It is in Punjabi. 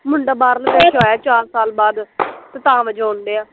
ਮੁੰਡਾ ਬਾਹਰਲੇ ਦੇਸ਼ੋ ਆਇਆ ਚਾਰ ਸਾਲ ਬਾਦ ਤੇ ਤਾਂ ਵਜਾਉਣ ਡਏ ਆ